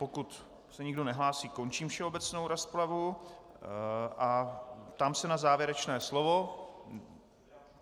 Pokud se nikdo nehlásí, končím všeobecnou rozpravu a ptám se na závěrečné slovo.